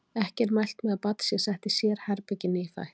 Ekki er mælt með að barn sé sett í sérherbergi nýfætt.